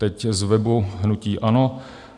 Teď z webu hnutí ANO.